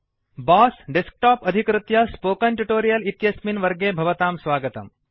boss desktop अधिकृत्य spoken tutorial इत्यस्मिन् वर्गे भवतां स्वागतम्